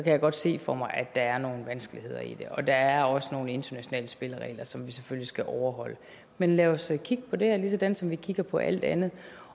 jeg godt se for mig at der er nogle vanskeligheder i det og der er også nogle internationale spilleregler som vi selvfølgelig skal overholde men lad os kigge på det ligesådan som vi kigger på alt andet